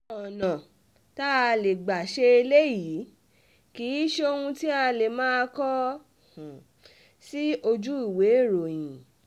àwọn ọ̀nà tá a lè gbà ṣe eléyìí kì í um ṣe ohun tí a lè máa kọ um sí ojú ìwééròyìn